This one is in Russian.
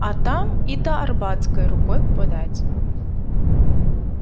а там и до арбатской рукой подать